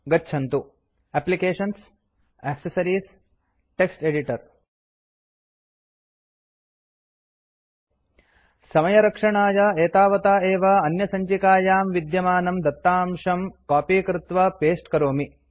गच्छन्तु एप्लिकेशन्सग्टक्सेस एडिटर समयरक्षणाय एतावता एव अन्यसञ्चिकायां विद्यमानं दत्ताशं कॉपी कृत्वा पस्ते करोमि